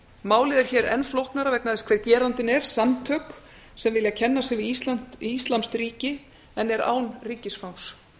málið er hér enn flóknara vegna þess hver gerandinn er samtök sem vilja kenna sig við íslamskt ríki en eru án ríkisfangs